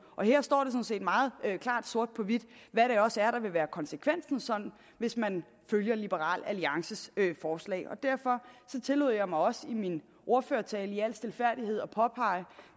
og her står det sådan set meget klart sort på hvidt hvad det også er der vil være konsekvensen hvis man følger liberal alliances forslag derfor tillod jeg mig også i min ordførertale i al stilfærdighed at påpege